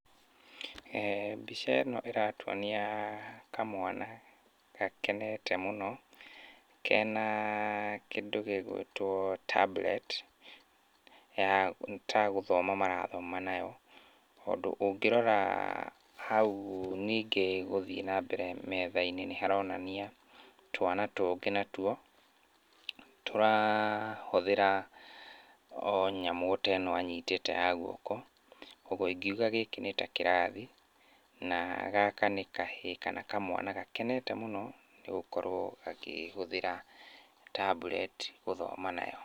Mbica ĩno ĩratuonia kamwana gakenete mũno kena kĩndũ gĩgwĩtwo tablet ya nĩ ta gũthoma marathoma nayo, tondũ ũngĩrora hau ningĩ gũthiĩ na mbere metha-inĩ nĩharonania twana tũngĩ natuo tũrahũthĩra o nyamũ ota ĩno anyitĩte ya guoko. Kuoguo ingiuga gĩkĩ nĩ ta kĩrathi, na gaka nĩ kahĩĩ kana kamwana gakenete mũno nĩgũkorwo gakĩhũthĩra tablet gũthoma nayo.